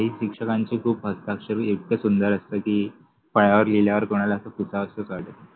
शिक्षकांचे हस्ताक्षर इतके सुंदर असते कि फळ्यावर लिहिल्यावर कुनाला अस पुसावसच वाटत नाहि.